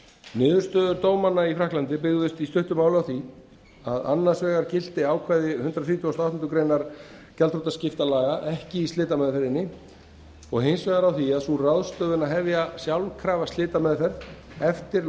niðurstöður dómanna byggðust í stuttu máli á því að annars vegar gilti ákvæði hundrað þrítugasta og áttundu greinar gjaldþrotaskiptalaga ekki í slitameðferðinni og hins vegar á því að sú ráðstöfun að hefja sjálfkrafa slitameðferð eftir